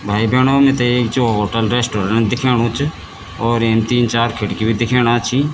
भाई बैणो मिथे एक च होटल रेस्टोरेंट दिखेणु च और येम तीन चार खिड़की भी दिखेणा छी।